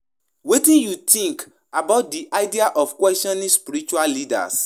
We go dey careful when questioning our spiritual leaders, so we no go cross di sacred lines.